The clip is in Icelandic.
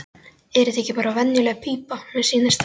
Er þetta ekki bara venjuleg pípa, mér sýnist það.